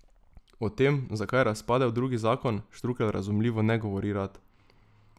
O tem, zakaj je razpadel drugi zakon, Štrukelj razumljivo ne govori rad.